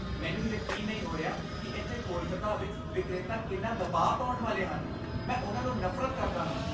ਮੈਨੂੰ ਯਕੀਨ ਨਹੀਂ ਹੋ ਰਿਹਾ ਕਿ ਇੱਥੇ ਕੋਲਕਾਤਾ ਵਿੱਚ ਵਿਕਰੇਤਾ ਕਿੰਨਾ ਦਬਾਅ ਪਾਉਣ ਵਾਲੇ ਹਨ। ਮੈਂ ਉਹਨਾਂ ਨੂੰ ਨਫ਼ਰਤ ਕਰਦਾ ਹਾਂ।